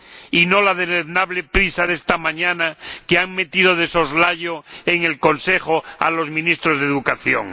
Y no la deleznable prisa de esta mañana que han metido de soslayo en el Consejo a los Ministros de Educación.